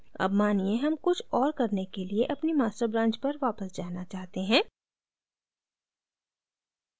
अब मानिए हम कुछ और करने के लिए अपनी master branch पर वापस जाना चाहते हैं